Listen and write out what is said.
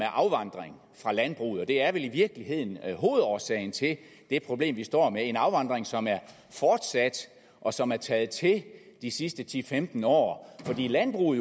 afvandring fra landbruget og det er vel i virkeligheden hovedårsagen til det problem vi står med en afvandring som er fortsat og som er taget til de sidste ti til femten år fordi landbruget